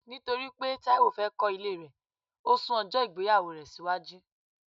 Nítorí pé Taiwo fẹ́ kọ ilé rẹ, o sún ojo ìgbéyàwó rẹ síwájú